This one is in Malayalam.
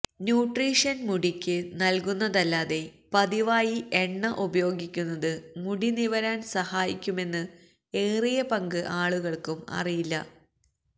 ന്യൂട്രീഷന് മുടിക്ക് നല്കുന്നതല്ലാതെ പതിവായി എണ്ണ ഉപയോഗിക്കുന്നത് മുടി നിവരാന് സഹായിക്കുമെന്ന് ഏറിയ പങ്ക് ആളുകള്ക്കും അറിയില്ല